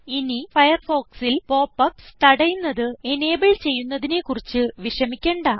ഇനി Firefoxൽ pop ups തടയുന്നത് എനബിൾ ചെയ്യുന്നതിനെ കുറിച്ച് വിഷമിക്കണ്ട